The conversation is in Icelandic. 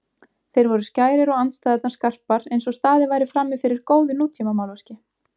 Þeir voru skærir og andstæðurnar skarpar einsog staðið væri frammifyrir góðu nútímamálverki.